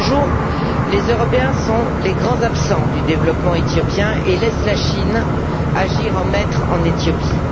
À ce jour, les Européens sont les grands absents du développement éthiopien et laissent la Chine agir en maître en Éthiopie.